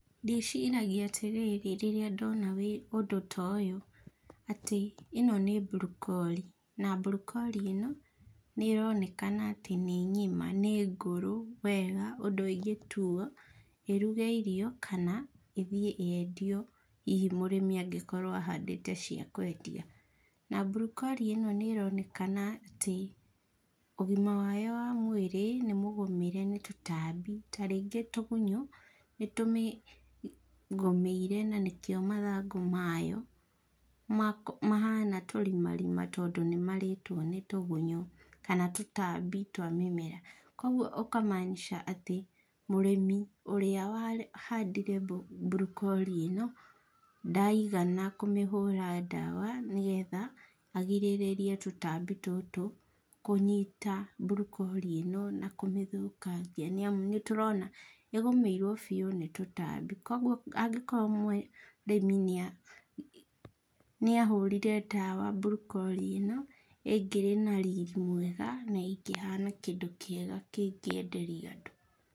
Ndĩciragia atĩrĩrĩ rĩrĩa ndona ũndũ ta ũyũ, atĩ ĩno nĩ mburokori, na mburokori ĩno, nĩronekana atĩ nĩ ngima nĩ ngũrũ wega ũndũ ĩngĩtuo, ĩruge irio, kana ĩthiĩ yendio hihi mũrĩmi angĩkorwo ahandĩte cia kwendia. Na mburokori ĩno nĩronekana atĩ, ũgima wayo wa mwĩrĩ, nĩmũgũmĩre nĩ tũtambi tarĩngĩ tũgunyũ, nĩtũmĩgũmĩire na nĩkio mathangũ mayo, mako mahana tũrimarima tondũ nĩmarĩtwo nĩ tũgunyũ kana tũtambi twa mĩmera, koguo ũka manisha atĩ mũrĩmi ũrĩa wahandĩre mburokori ĩno, ndaigana kũmĩhũra ndawa, nĩgetha, agirĩrĩrie tũtambi tũtũ kũnyita mburokori ĩno na kũmĩthũkangia nĩamũ nĩtũrona ĩgũmĩirwo biũ nĩ tũtambi. Kwoguo angĩkorwo mũrĩmi nĩa nĩahũrire ndawa, mburokori ĩno ĩngĩrĩ na riri mwega, na ĩngĩhana kĩndũ kĩega kĩngĩenderio andũ.